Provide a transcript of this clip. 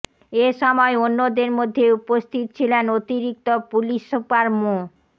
এ সময় অন্যদের মধ্যে উপস্থিত ছিলেন অতিরিক্ত পুলিশ সুপার মো